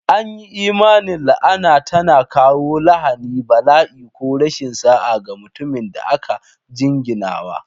An yi imanin la'ana tana kawo lahani, bala'i, ko rashin sa'a ga mutumin da aka jinginawa.